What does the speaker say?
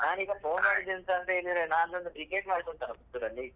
ನಾನೀಗ phone ಮಾಡಿದ್ದು ಎಂತ ಅಂತ ಹೇಳಿದ್ರೆ ನಾಳ್ದೊಂದು Cricket match ಉಂಟಲ Puttur ಅಲ್ಲಿ.